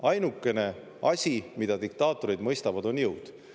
Ainukene asi, mida diktaatorid mõistavad, on jõud.